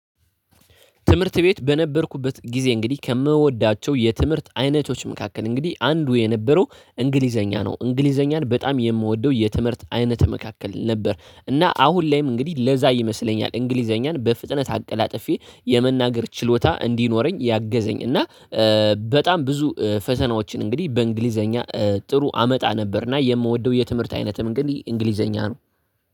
ትምህርት ቤት በነበርኩበት ጊዜ እንግዲህ ከምወዳቸው የትምህርት አይነቶች መካከል እንግዲህ አንዱ የነበረው እንግሊዘኛ ነው። እንግሊዘኛን በጣም የምወደው የትምህርት አይነት መካከል ነበር እና አሁን ላይም እንግዲህ ለዛ ይመስለኛል እንግሊዘኛን በፍጥነት አቀላጥፌ የመናገር ችሎታ እንዲኖረኝ ያገዘኝ እና በጣም ብዙ ፈተናዎችን እንግዲህ በእንግሊዘኛ ጥሩ አመጣ ነበርና የምወደው የትምህርት አይነትም እንግዲህ እንግሊዘኛ ነው።